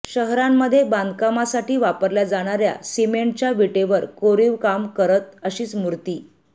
शहरांमध्ये बांधकामासाठी वापरल्या जाणाऱ्या सिमेंटच्या विटेवर कोरीवकाम करत अशीच मूर्ती